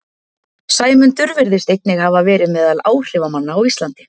Sæmundur virðist einnig hafa verið meðal áhrifamanna á Íslandi.